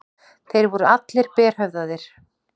Þeir voru allir berhöfðaðir.